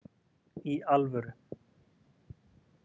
Í alvöru.